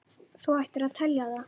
Þú ættir að telja það.